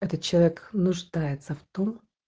этот человек нуждается в том